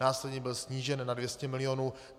Následně byl snížen na 200 milionů.